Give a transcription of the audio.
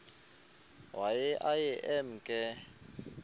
waye aye emke